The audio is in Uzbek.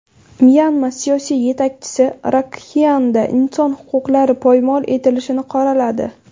Myanma siyosiy yetakchisi Rakxaynda inson huquqlari poymol etilishini qoraladi.